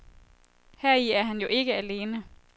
Heri er han jo ikke alene.